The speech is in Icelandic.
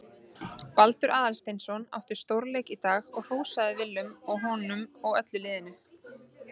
Baldur Aðalsteinsson átti stórleik í dag og hrósaði Willum honum og öllu liðinu.